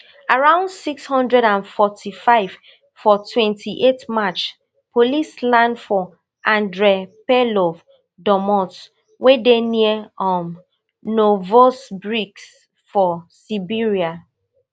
around six hundred and forty-five for twenty-eight march police land for andrey perlov domot wey dey near um novosibirsk for siberia